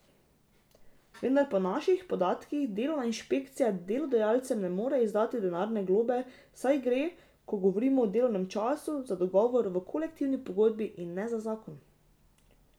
Vendar po naših podatkih delovna inšpekcija delodajalcem ne more izdati denarne globe, saj gre, ko govorimo o delovnem času, za dogovor v kolektivni pogodbi, in ne za zakon.